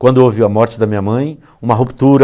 Quando houve a morte da minha mãe, uma ruptura,